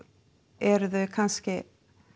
eru þau kannski